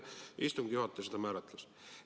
Istungi juhataja seda määratles.